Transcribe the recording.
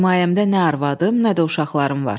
Himayəmdə nə arvadım, nə də uşaqlarım var.